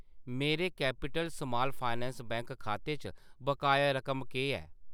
मेरे capital small finance bank खाते च बकाया रकम केह् ऐ ?